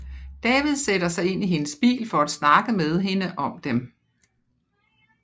David sætter sig ind i hendes bil for at snakke med hende om dem